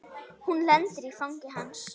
Hún lendir í fangi hans.